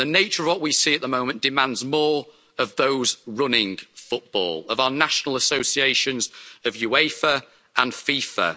The nature of what we see at the moment demands more of those running football, of our national associations, of UEFA and of FIFA.